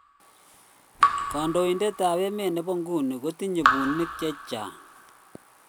kandoinet ab emet nebo nguno kotinye punyik che chang